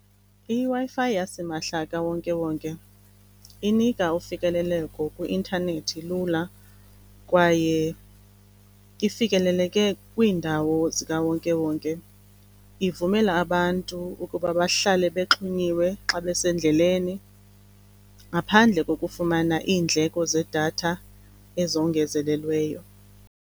I-Wi-Fi yasimahla kawonke-wonke inika ufikeleleko kwi-intanethi lula kwaye ifikeleleke kwiindawo zikawonke-wonke. Ivumela abantu ukuba bahlale bexhunyiwe xa besendleleni, ngaphandle kokufumana iindleko zedatha ezongezelelweyo.